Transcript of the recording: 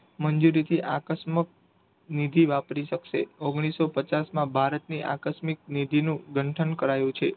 મંજૂરી થી આકસ્મક નીતિ વાપરી શકશે ઓન્ગ્લીસો પચાસ માં ભારત ની આકસ્મિક નીતિ નું ગંઠન કરાયું છે.